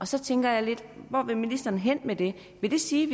så tænker jeg lidt hvor vil ministeren hen med det vil det sige